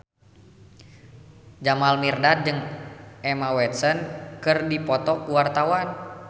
Jamal Mirdad jeung Emma Watson keur dipoto ku wartawan